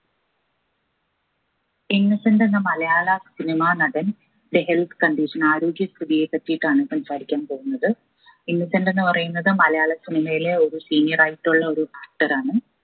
innocent എന്ന മലയാള cinema നടൻ ന്റെ health condition ആരോഗ്യ സ്ഥിതിയെ പറ്റിയിട്ടാണ് സംസാരിക്കാൻ പോകുന്നത് ഇന്നസെന്റ് എന്ന് പറയുന്നത് മലയാള cinema യിലെ ഒരു senior ആയിട്ടുള്ളൊരു actor ആണ്